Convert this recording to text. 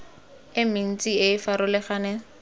e mentsi e e farologaneng